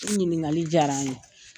I ɲininkali diyara an ye.